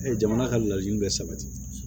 jamana ka laɲini bɛ sabati